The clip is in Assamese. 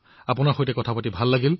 আপোনাৰ সৈতে কথা পাতি ভাল লাগিল